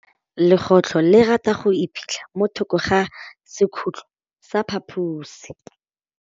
Legôtlô le rata go iphitlha mo thokô ga sekhutlo sa phaposi.